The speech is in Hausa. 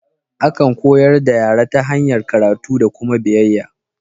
Akan koyar da yara ta hanyar karatu da kuma biyayya.